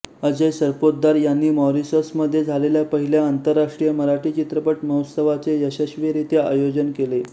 अजय सरपोतदार यांनी मॉरिशसमध्ये झालेल्या पहिल्या आंतरराष्ट्रीय मराठी चित्रपट महोत्सवाचे यशस्वीरित्या आयोजन केले